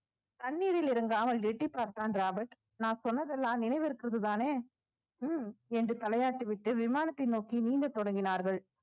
தண்ணீரில் இறங்காமல் எட்டிப்பார்த்தான் ராபர்ட் நான் சொன்னதெல்லாம் நினைவிருக்கிறது தானே ஹம் என்று தலையாட்டி விட்டு விமானத்தை நோக்கி நீந்த தொடங்கினார்கள்